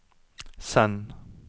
send